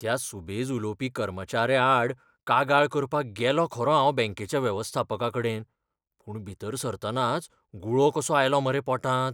त्या सुबेज उलोवपी कर्मचाऱ्याआड कागाळ करपाक गेलों खरों हांव बॅंकेच्या वेवस्थापकाकडेन, पूण भितर सरतनाच गुळो कसो आयलो मरे पोटांत.